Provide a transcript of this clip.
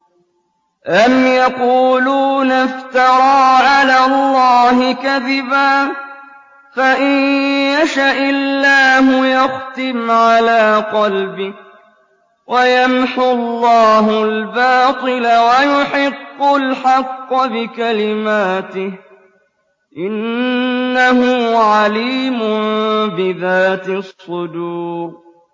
أَمْ يَقُولُونَ افْتَرَىٰ عَلَى اللَّهِ كَذِبًا ۖ فَإِن يَشَإِ اللَّهُ يَخْتِمْ عَلَىٰ قَلْبِكَ ۗ وَيَمْحُ اللَّهُ الْبَاطِلَ وَيُحِقُّ الْحَقَّ بِكَلِمَاتِهِ ۚ إِنَّهُ عَلِيمٌ بِذَاتِ الصُّدُورِ